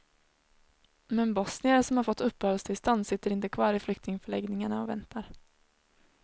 Men bosnier som har fått uppehållstillstånd sitter inte kvar i flyktingförläggningarna och väntar.